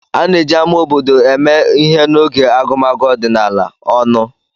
A na-eji ámá obodo eme ihe n'oge agụmagụ ọdịnala (ọnụ).